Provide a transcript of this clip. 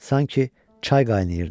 Sanki çay qaynayırdı.